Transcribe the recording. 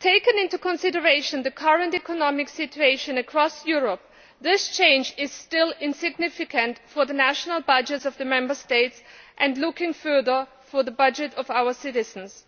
Taking into consideration the current economic situation across Europe, this change is still insignificant for the national budgets of the Member States and, looking further, for the budgets of our citizens.